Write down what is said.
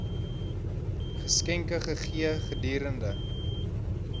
geskenke gegee gedurende